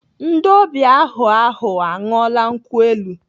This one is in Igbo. Ndị ọbịa ahụ ahu aṅụọla nkwụ elu?